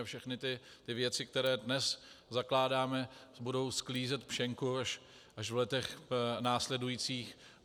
A všechny ty věci, které dnes zakládáme, budou sklízet pšenku až v letech následujících.